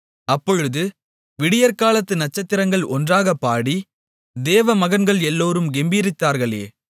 அப்பொழுது விடியற்காலத்து நட்சத்திரங்கள் ஒன்றாகப்பாடி தேவமகன்கள் எல்லோரும் கெம்பீரித்தார்களே